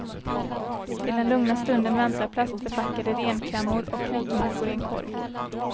Till den lugna stunden väntar plastförpackade renklämmor och knäckemackor i en korg.